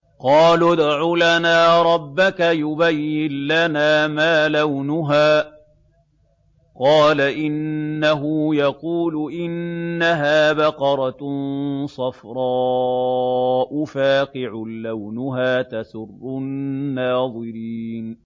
قَالُوا ادْعُ لَنَا رَبَّكَ يُبَيِّن لَّنَا مَا لَوْنُهَا ۚ قَالَ إِنَّهُ يَقُولُ إِنَّهَا بَقَرَةٌ صَفْرَاءُ فَاقِعٌ لَّوْنُهَا تَسُرُّ النَّاظِرِينَ